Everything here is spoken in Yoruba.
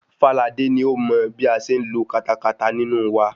Fáladé ni ó mọ bí a ṣe ń lo katakata nínú wa.